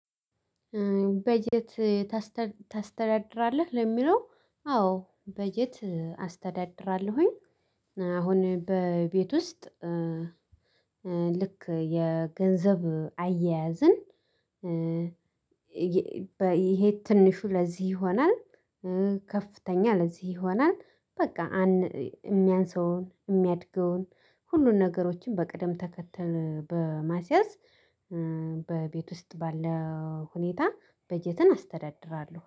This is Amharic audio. በጀት ታስተዳድራለህ? ለሚለው አዎ በጀት አስተዳድራለሁኝ አሁን በቤት ውስጥ ልክ የገንዘብ አያያዝን ይሄ ትንሹ ለዚህ ይሆናል ከፍተኛ ለዚህ ይሆናል በቃ የሚያንስውን የሚያድገውን ሁሉን ነገሮችን በቅደም ተከተል በማስያዝ በቤት ውስጥ ባለ ሁኔታ በጀትን አስተዳድራለሁ።